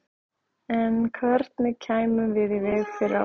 En hvernig kæmum við í veg fyrir árekstur?